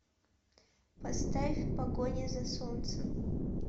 поставь в погоне за солнцем